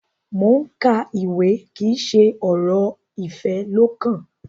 Mo n ka ìwé kí n ṣe ọrọ ifẹ lọkàn.